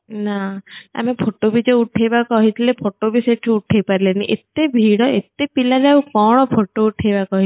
ନା ଆମେ photo ଭି ଜୋ ଉଠେଇବା କହିଥିଲେ photo ଭି ସେଠୁ ଉଠେଇ ପାରିଲେନି ଏତେ ଭିଡ ଏତେ ପିଲା ଯେ ଆଉ କଣ photo ଉଠେଇବା କହି